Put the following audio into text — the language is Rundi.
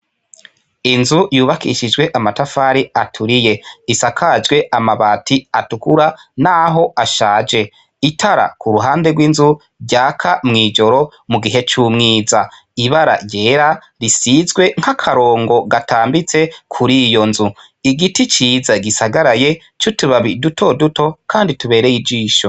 Inzu yubakishijwe amatafari aturiye ,isakajwe amabati atukura naho ashaje, itara k'uruhande rw'inzu ryaka mw'ijoro mugihe c'umwiza, ibara ryera risizwe nkakarongo gatambitse kur'iyo nzu ,igiti ciza gisagaraye c'utubabi duto duto kandi tubereye ijisho.